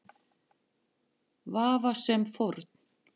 Vafasöm fórn.